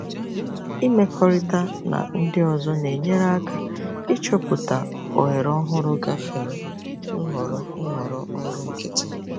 Ịmekọrịta na ndị ọzọ na-enyere aka ịchọpụta ohere ọhụrụ gafere nhọrọ nhọrọ ọrụ nkịtị.